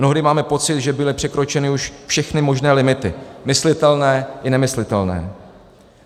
Mnohdy máme pocit, že byly překročeny už všechny možné limity, myslitelné i nemyslitelné.